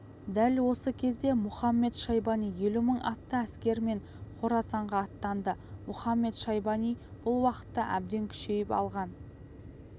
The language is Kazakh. дәл осы кезде мұхамед-шайбани елу мың атты әскермен қорасанға аттанды мұхамед-шайбани бұл уақытта әбден күшейіп алған